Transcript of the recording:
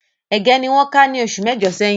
Ége ni wọ́n ká ní oṣù mẹ́jọ̀ sẹ́yìn